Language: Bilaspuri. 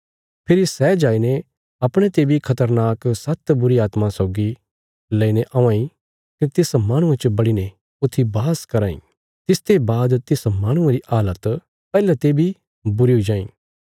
फेरी सै जाईने अपणे ते बी खतरनाक सात्त बुरीआत्मां सौगी लेईने औआं इ कने तिस माहणुये च बड़ीने ऊथी वास कराँ इ तिसते बाद तिस माहणुये री हालत पैहले ते बी बुरी हुई जाईं